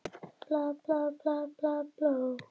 Aðeins einn dagur að afplána.